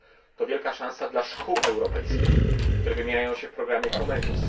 To wielka szansa dla szkół europejskich, które wymieniają się w programie Comenius.